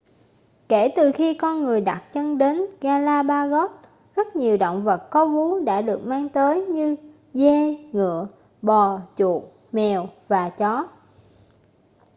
kể từ khi con người đặt chân đến galapagos rất nhiều động vật có vú đã được mang tới như dê ngựa bò chuột mèo và chó